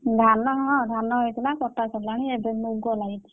ଧାନ ହଁ ଧାନ ହେଇଥିଲା କଟା ସରିଲାଣି ଏବେ ମୁଗ ଲାଗିଛି।